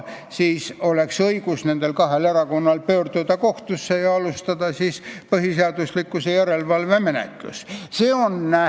Siis oleks nendel kahel erakonnal õigus pöörduda kohtusse, et alustataks põhiseaduslikkuse järelevalve menetlust.